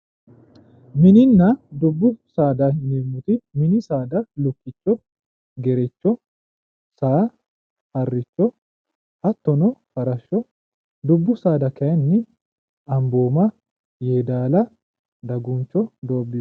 mininna dubbu saada yineemmoti mini saada lukkicho gerecho saa harricho hattono farashsho dubbu saada kayiinni ambooma yeedaala daguncho doobbiicho.